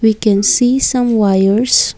we can see some wires.